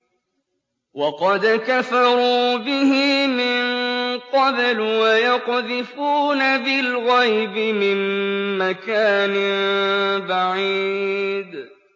وَقَدْ كَفَرُوا بِهِ مِن قَبْلُ ۖ وَيَقْذِفُونَ بِالْغَيْبِ مِن مَّكَانٍ بَعِيدٍ